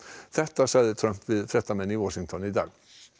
þetta sagði Trump við fréttamenn í Washington í dag